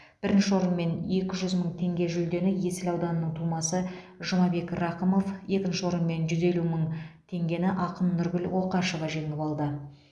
бірінші орын мен екі жүз мың теңге жүлдені есіл ауданының тумасы жұмабек рақымов екінші орын мен жүз елу мың теңгені ақын нұргүл оқашева жеңіп алды